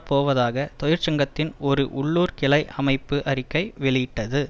போவதாக தொழிற்சங்கத்தின் ஒரு உள்ளூர் கிளை அமைப்பு அறிக்கை வெளியிட்டது